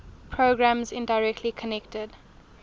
programs indirectly connected